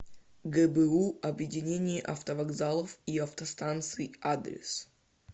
гбу объединение автовокзалов и автостанций адрес